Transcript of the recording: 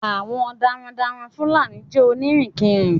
Àwọn darandaran Fúlàní jẹ́ onírìnkiri.